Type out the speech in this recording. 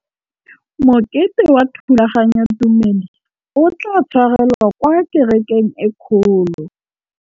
Mokete wa thulaganyôtumêdi o tla tshwarelwa kwa kerekeng e kgolo.